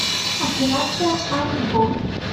операция арго